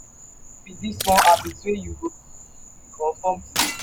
wetin be di one habit wey you go like break or form today?